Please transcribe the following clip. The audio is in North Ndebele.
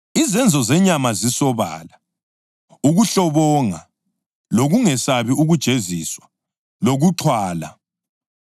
Izenzo zenyama zisobala: ukuhlobonga, lokungesabi ukujeziswa, lokuxhwala;